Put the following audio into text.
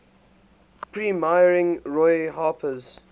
premiering roy harper's